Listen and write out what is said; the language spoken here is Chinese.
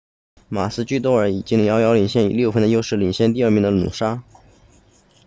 马鲁基多尔 maroochydore 已经遥遥领先以六分的优势领先第二名的努沙 noosa